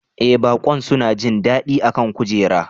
Ee baƙon suna jin daɗi a kan kujera